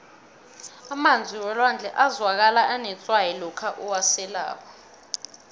emanzi welwandle azwakala anetswayi lokha uwaselako